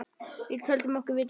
Við töldum okkur vita betur.